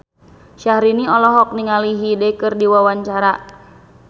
Syahrini olohok ningali Hyde keur diwawancara